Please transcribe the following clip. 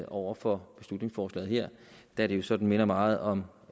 over for beslutningsforslaget her da det jo sådan minder meget om